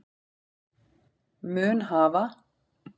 mun hafa